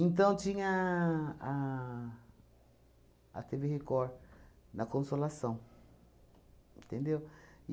Então, tinha a a têvê Record na Consolação, entendeu?